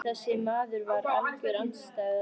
Skarpir náungar en stórir upp á sig.